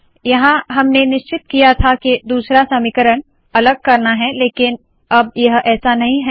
यहाँ हमने निश्चित किया था के दूसरा समीकरण अलग करना है लेकिन अब यह ऐसा नहीं है